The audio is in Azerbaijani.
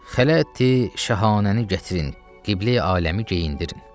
Xələti şahanəni gətirin, qibləyi aləmi geyindirin.